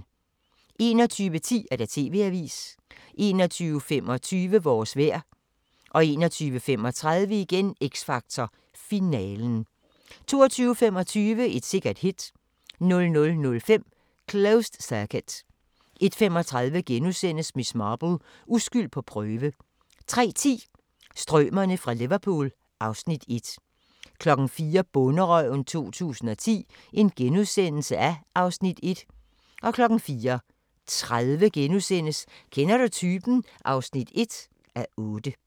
21:10: TV-avisen 21:25: Vores vejr 21:35: X Factor finalen 22:25: Et sikkert hit 00:05: Closed Circuit 01:35: Miss Marple: Uskyld på prøve * 03:10: Strømerne fra Liverpool (Afs. 1) 04:00: Bonderøven 2010 (Afs. 1)* 04:30: Kender du typen? (1:8)*